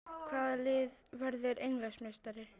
Hvaða lið verður Englandsmeistari?